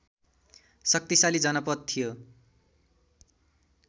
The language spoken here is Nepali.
शक्तिशाली जनपद थियो